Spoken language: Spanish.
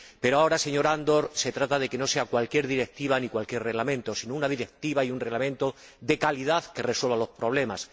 Pero, ahora, señor Andor, se trata de que no sean cualquier directiva ni cualquier reglamento, sino una directiva y un reglamento de calidad que resuelvan los problemas.